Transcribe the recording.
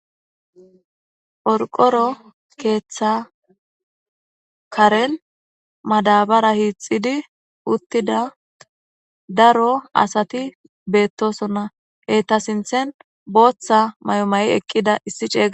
Qorqoro keeththa Kaaren madabara hixidi uttida daro Asati betosonna. Eeta sinththen booththa maayo mayi eqida issi ceega...